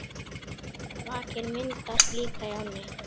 Vakir myndast líka í ám.